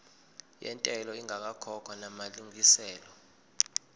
yentela ingakakhokhwa namalungiselo